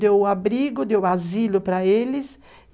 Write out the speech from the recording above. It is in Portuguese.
Deu o abrigo, deu o asilo para eles.